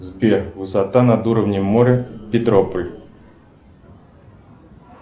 сбер высота на уровнем моря петрополь